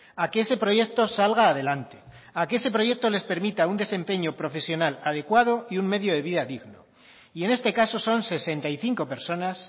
a que ese proyecto salga adelante a que ese proyecto les permita un desempeño profesional adecuado y un medio de vida digno y en este caso son sesenta y cinco personas